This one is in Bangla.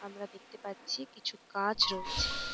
আমরা দেখতে পাচ্ছি কিছু গাছ রয়েছে ।